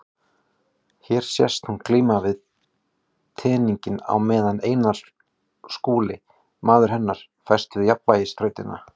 Hér sést hún glíma við teninginn á meðan Einar Skúli, maður hennar, fæst við jafnvægisþrautina.